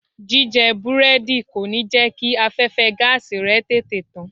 Jíjẹ Búrẹ́dì kò ní jẹ́ kí afẹ́fẹ́ẹ gáàsì rẹ tètè tán.